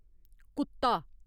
कुत्ता